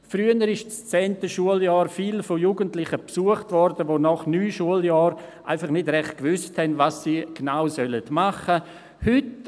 Früher wurde das zehnte Schuljahr oft von Jugendlichen besucht, die nach neun Schuljahren noch nicht recht wussten, was sie genau machen sollen.